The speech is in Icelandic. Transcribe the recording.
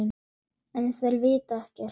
En þær vita ekkert.